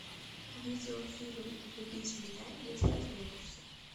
видеофильм влюбись в меня если осмелишься